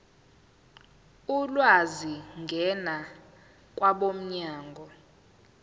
ulwazi ngena kwabomnyango